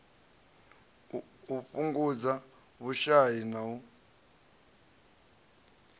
u fhungudza vhushai na u